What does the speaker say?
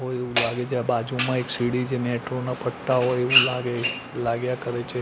કોઈ બાજુમાં એક સિડી છે મેટ્રો ના પટ્ટા હોય એવું લાગે લાગ્યા કરે છે.